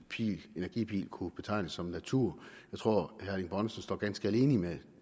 energipil kunne betegnes som natur jeg tror herre erling bonnesen står ganske alene med